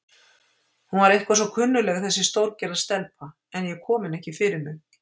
Hún var eitthvað svo kunnugleg þessi stórgerða stelpa, en ég kom henni ekki fyrir mig.